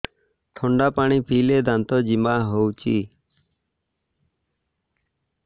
ଥଣ୍ଡା ପାଣି ପିଇଲେ ଦାନ୍ତ ଜିମା ହଉଚି